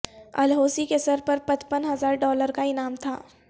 الحوثی کے سرپر پچپن ہزار ڈالر کا انعام تھا